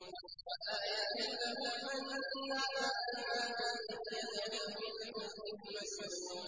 وَآيَةٌ لَّهُمْ أَنَّا حَمَلْنَا ذُرِّيَّتَهُمْ فِي الْفُلْكِ الْمَشْحُونِ